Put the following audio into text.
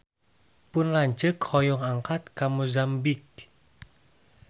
Pun lanceuk hoyong angkat ka Mozambik